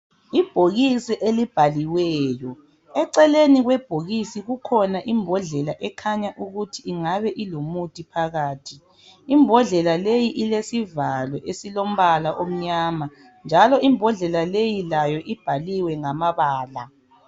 Ibhokisi elibhaliweyo, eceleni kwebhokisi kukhona imbodlela ekhanya ukuthi ingabe ilomuthi phakathi. Imbodlela leyi ilesivalo esilombala omnyama njalo imbodlela leyi layo ibhaliwe ngamabala.